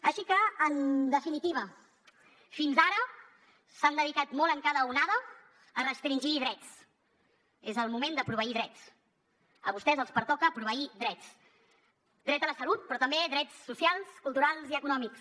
així que en definitiva fins ara s’han dedicat molt en cada onada a restringir drets és el moment de proveir drets a vostès els pertoca proveir drets dret a la salut però també drets socials culturals i econòmics